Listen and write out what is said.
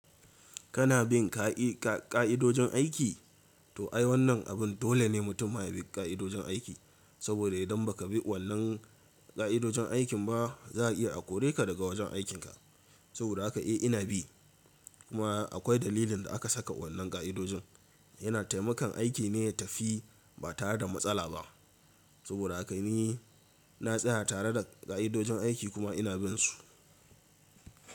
Kana bin ƙa'idojin aiki? To ai, wannan abin dole ne mutum ya bi ƙa'idojin aiki, saboda idan ba ka bi wannan ƙa'idojin aikin ba, za a iya a kore ka daga wajen aikinka. Saboda haka eh ina bi, kuma akwai dalilin da aka saka wannan ƙa'idojin. Yana taimakon aiki ne ya tafi ba tare da matsala ba. Saboda haka ni na tsaya tare da ƙa'idojin aiki kuma ina bin su.